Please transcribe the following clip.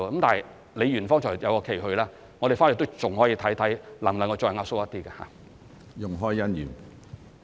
但李議員剛才有一個期許，我們回去還可以看看能否再壓縮一點。